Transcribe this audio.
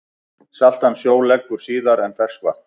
Saltan sjó leggur síðar en ferskvatn.